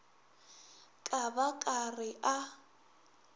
ka ba ka re a